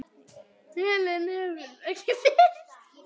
Málin höfðu tekið óvænta stefnu.